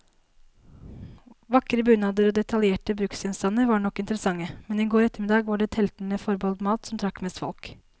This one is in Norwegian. Vakre bunader og detaljerte bruksgjenstander var nok interessante, men i går ettermiddag var det teltene forbeholdt mat, som trakk mest folk.